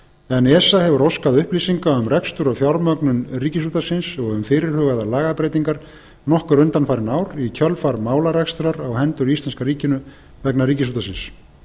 en esa hefur óskað upplýsinga um rekstur og fjármögnun ríkisútvarpsins og um fyrirhugaðar lagabreytingar nokkur undanfarin ár í kjölfar málarekstrar á hendur íslenska ríkinu vegna ríkisútvarpsins